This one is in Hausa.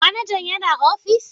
Manaja yana ofis?